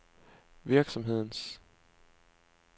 virksomhedens